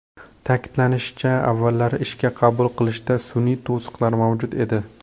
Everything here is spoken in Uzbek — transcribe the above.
Ta’kidlanishicha, avvallari ishga qabul qilishda sun’iy to‘siqlar mavjud edi.